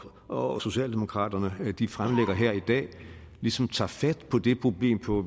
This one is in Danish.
og socialdemokratiet fremlægger her i dag ligesom tager fat på det problem på